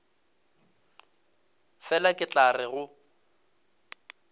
fela ke tla re go